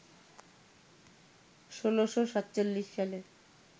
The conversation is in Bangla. ১৬৪৭ সালে